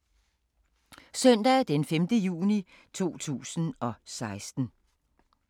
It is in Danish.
Søndag d. 5. juni 2016